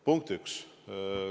Punkt üks.